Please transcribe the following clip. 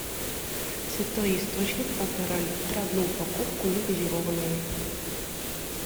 святой источник полтора литра одну упаковку негазированную